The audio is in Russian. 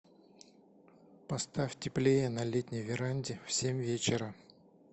поставь теплее на летней веранде в семь вечера